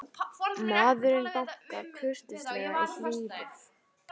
Maðurinn bankar kurteislega í hliðið.